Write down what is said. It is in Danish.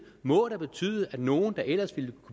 må da betyde at nogle der ellers ville